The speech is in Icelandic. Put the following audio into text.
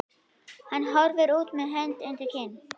Hann horfir út með hönd undir kinn.